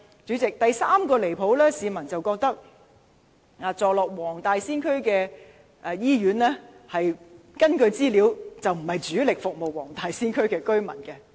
主席，第三個離譜之處，是根據資料顯示，市民認為坐落黃大仙區的醫院並非主力服務黃大仙區的居民。